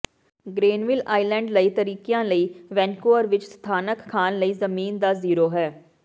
Granville Island ਕਈ ਤਰੀਕਿਆਂ ਨਾਲ ਵੈਨਕੂਵਰ ਵਿਚ ਸਥਾਨਕ ਖਾਣ ਲਈ ਜ਼ਮੀਨ ਦਾ ਜ਼ੀਰੋ ਹੈ